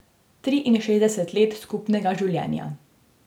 Triinšestdeset let skupnega življenja.